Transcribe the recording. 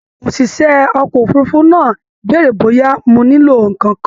ÒṢìṣẹ́ ọkọ̀ òfurufú náà bèèrè bóyá mo nílò nǹkan kan